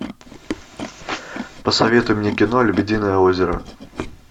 посоветуй мне кино лебединое озеро